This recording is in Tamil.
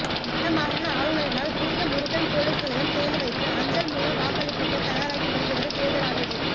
வடமாகாண ஆளுநரினால் புதிய முருங்கன் பொலிஸ் நிலையம் திறந்து வைப்புஅஞ்சல் மூல வாக்களிப்புக்குத் தயாராகி வருகிறது தேர்தல் ஆணைக்குழு